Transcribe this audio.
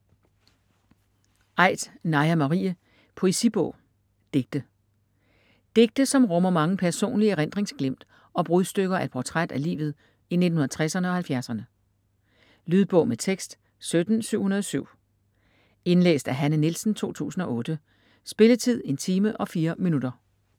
Aidt, Naja Marie: Poesibog: digte Digte som rummer mange personlige erindringsglimt og brudstykker af et portræt af livet i 1960'erne og 1970'erne. Lydbog med tekst 17707 Indlæst af Hanne Nielsen, 2008. Spilletid: 1 time, 4 minutter.